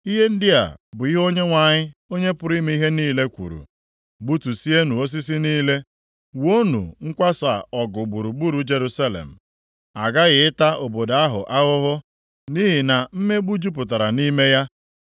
Ihe ndị a bụ ihe Onyenwe anyị, Onye pụrụ ime ihe niile, kwuru, “Gbutusienụ osisi niile, wuonụ nkwasa ọgụ gburugburu Jerusalem. A ghaghị ịta obodo a ahụhụ, nʼihi na mmegbu jupụtara nʼime ya.